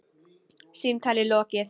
Símtali lokið.